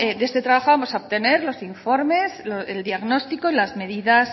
de este trabajo vamos a obtener los informes el diagnóstico y las medidas